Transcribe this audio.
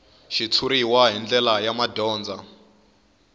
xitshuriwa hi ndlela ya madyondza